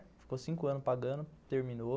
Ficou cinco anos pagando, terminou.